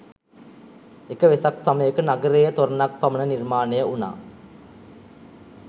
එක වෙසක් සමයක නගරයේ තොරණ ක් පමණ නිර්මාණය වුණා